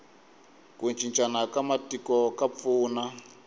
ku cincana ka matiko ka pfuna